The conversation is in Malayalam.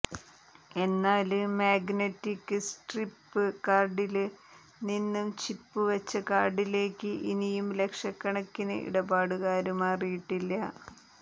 എന്നാല് മാഗ്നറ്റിക് സ്ട്രിപ് കാര്ഡില് നിന്ന് ചിപ്പ് വച്ച കാര്ഡിലേക്ക് ഇനിയും ലക്ഷക്കണക്കിന് ഇടപാടുകാര് മാറിയിട്ടില്ല